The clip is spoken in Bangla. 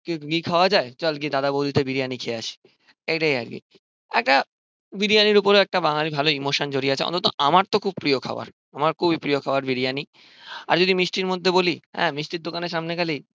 খাওয়া যায় চল গিয়ে দাদা সৌদিতে বিরিয়ানি খেয়ে আসি এটাই আরকি একটা বিরিয়ানির ওপরেও একটা বাঙালির ভালো ইমোশান জড়িয়ে আছে অন্তত আমার তো খুব প্রিয়ো খাওয়ার আমার খুবই প্রিয় খাবার বিরিয়ানি আর যদি মিষ্টির মধ্যে বলি হ্যাঁ মিষ্টির দোকানের সামনে গেলেই